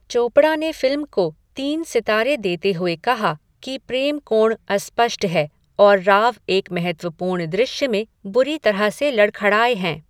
चोपड़ा ने फिल्म को तीन सितारे देते हुए कहा कि प्रेम कोण अस्पष्ट है और राव एक महत्वपूर्ण दृश्य में बुरी तरह से लड़खड़ाए हैं।